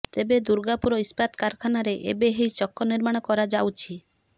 ତେବେ ଦୁର୍ଗାପୁର ଇସ୍ପାତ କାରଖାନାରେ ଏବେ ଏହି ଚକ ନିର୍ମାଣ କରାଯାଉଛି